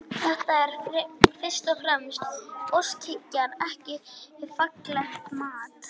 Þetta er fyrst og fremst óskhyggja en ekki faglegt mat.